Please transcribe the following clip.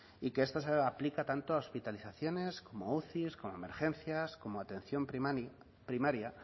y que esto se aplica tanto a hospitalizaciones como a uci como a emergencias como a atención primaria